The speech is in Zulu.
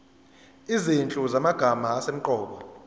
izinhlu zamagama asemqoka